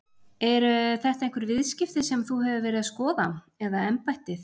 Eru þetta einhver viðskipti sem að þú hefur verið að skoða eða embættið?